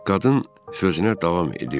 Qadın sözünə davam edirdi.